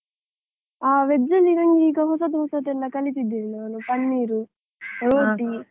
ಆ veg ಅಲ್ಲಿ ನಂಗೀಗ ಹೊಸತು ಹೊಸತು ಎಲ್ಲ ಕಲಿತಿದ್ದೇನೆ ನಾನು, panneer roti .